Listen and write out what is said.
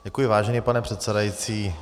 Děkuji, vážený pane předsedající.